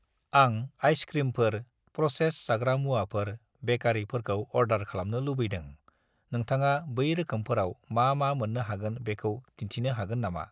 आं आइस-क्रिमफोर ,प्र'सेस्ड जाग्रा मुवाफोर ,बेकारि फोरखौ अर्डार खालामनो लुबैदों, नोंथाङा बै रोखोमफोराव मा-मा मोन्नो हागोन बेखौ दिन्थिनो हागोन नमा?